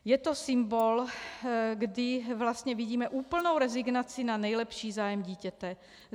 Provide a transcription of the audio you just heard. Je to symbol, kdy vlastně vidíme úplnou rezignaci na nejlepší zájem dítěte.